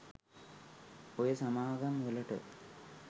ඔය සමාගම් වලට?